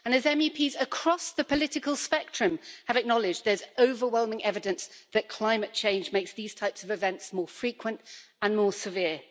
As MEPs across the political spectrum have acknowledged, there's overwhelming evidence that climate change makes these types of events more frequent and more severe.